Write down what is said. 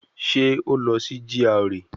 Ṣé ó lọ sí GRA